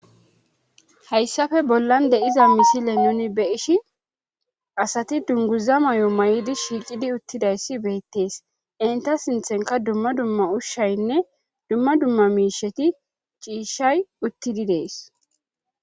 hayssafe bollan de'iza misile nuni be ishi asati dunguza may7o may7idi shiiqidi uttidayssi beettees inta sinthenka dumma dumma ushshaynne dumma dumma miisheti ciishshay uttidi dees